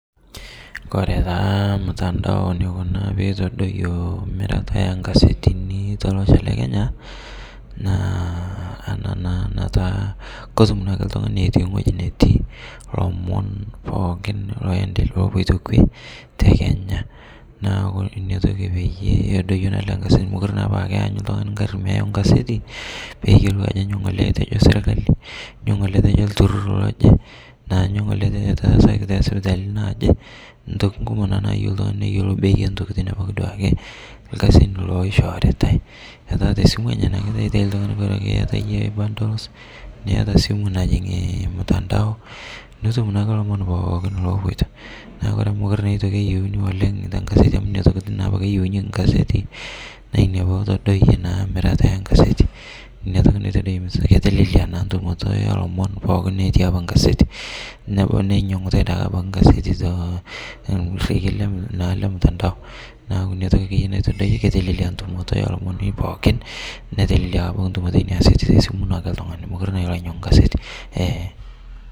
Kore taa ilmutandao neiko peitadoiyo emirata enkasetini telosho le Kenya naa ana naa nataa kotum naake iltungani etii weji netii lomon pookin lopoto kwe tekenya naaku inatoki peyie edoiyo ale kasi, mokore naapa aa keanyu ltungani ingarri meyau ngaseti peyiolou ajo nyoo ng'ole etojo sirkali, nyoo ng'ole etojo ilturur loje, anyoo ng'ole etaasaki te sipitalini naaje, ntoki kumok naa nayeu ltungani neyiolou peeyie ntokitin pooki duake, ilkasin loishooritae, metaa te esimu enye taake taata eitai ltungani bora ake ieta iyie bundles, nieta esimu naji ormutandao, nitum naake lomon pooki opoito, naaku ore amu mekore eitoki naa eyeuni oleng te ingaseti amu nena rokirin apake eyeunyeki ingasetini, naa inia peetodoiye naa mirata enkaseti, ina toki naitodiyo, ketelelia naa ntumoto oolomon pookin otii apa ingaseti, neinyang'utae taa abaki ingaseti to nkule le ormutandao, inatoki ake iyie naitadoiye ketelelia ntumoto oolomoni pookin, netelelia apa ntumoto oo nenia aasetini te esimu ake ltungani, mekore na ilo ainyang'u ingaseti.